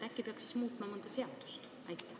Äkki peaks muutma mõnda seadust?